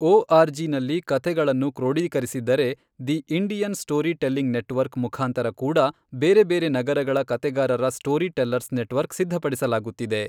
ಓಆರ್ಜಿನಲ್ಲಿ ಕತೆಗಳನ್ನು ಕ್ರೋಢೀಕರಿಸಿದ್ದರೆ, the Indian story telling network ಮುಖಾಂತರ ಕೂಡಾ ಬೇರೆ ಬೇರೆ ನಗರಗಳ ಕತೆಗಾರರ ಸ್ಟೋರಿ ಟೆಲ್ಲರ್ಸ್ ನೆಟ್ವರ್ಕ್ ಸಿದ್ಧಪಡಿಸಲಾಗುತ್ತಿದೆ.